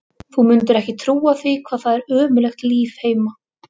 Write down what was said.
Þú mundir ekki trúa því hvað það er ömurlegt líf heima.